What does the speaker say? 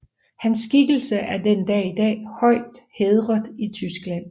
Hans skikkelse er den dag i dag højt hædret i Tyskland